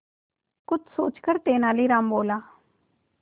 कुछ सोचकर तेनालीराम बोला